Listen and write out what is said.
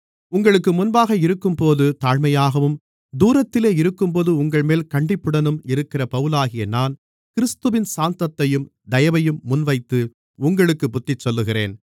உங்களுக்கு முன்பாக இருக்கும்போது தாழ்மையாகவும் தூரத்திலே இருக்கும்போது உங்கள்மேல் கண்டிப்புடனும் இருக்கிற பவுலாகிய நான் கிறிஸ்துவின் சாந்தத்தையும் தயவையும் முன்வைத்து உங்களுக்குப் புத்திசொல்லுகிறேன்